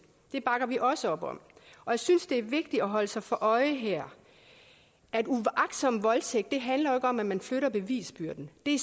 det bakker vi også op om jeg synes det er vigtigt at holde sig for øje her at uagtsom voldtægt jo ikke handler om at man flytter bevisbyrden i